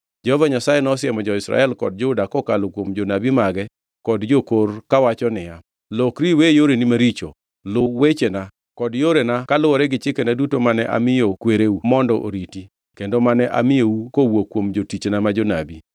Jehova Nyasaye nosiemo Israel kod Juda kokalo kuom jonabi mage kod jokor, kawacho niya, “Lokri iwe yoreni maricho, luw wechena, kod yorena kaluwore gi chikena duto mane amiyo kwereu mondo oriti kendo mane amiyou kowuok kuom jotichna ma jonabi.”